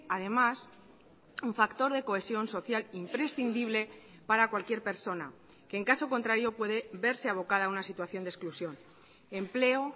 además un factor de cohesión social imprescindible para cualquier persona que en caso contrario puede verse abocada a una situación de exclusión empleo